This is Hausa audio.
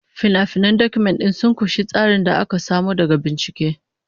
Fina-finan Document ɗin sun ƙunshi tsarin da aka samo daga bincike.